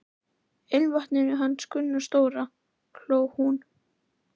Ilmvatninu hans Gunna stóra! hló hún.